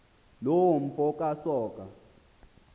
loo mfo kasoga